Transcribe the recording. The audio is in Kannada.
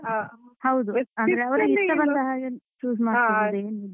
ಹೌದು ಹಾಗೆ ಅವ್ರಿಗೆ ಇಷ್ಟ ಬಂದ ಹಾಗೆ choose ಮಾಡ್ಕೋಬೋದು.